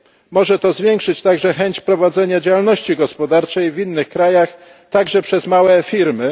Może to zwiększyć także chęć prowadzenia działalności gospodarczej w innych krajach także przez małe firmy.